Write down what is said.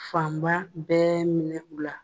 Fanba bɛɛ minɛ u la.